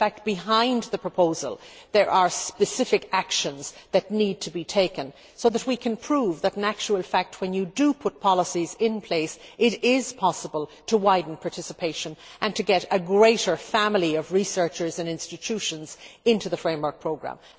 behind the proposal there are specific actions that need to be taken so that we can prove that, when you put policies in place, it is possible to widen participation and to get a greater family of researchers and institutions into the framework programme.